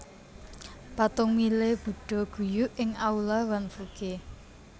Patung Mile budha guyu ing aula Wanfuge